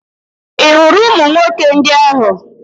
Ị hụrụ ụmụ nwoke ndị ahụ?